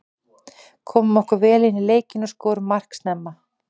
Komum okkur vel inní leikinn og skorum mark snemma.